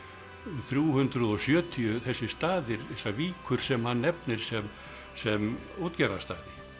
þrjú hundruð og sjötíu þessir staðir þessar víkur sem hann nefnir sem sem útgerðarstaði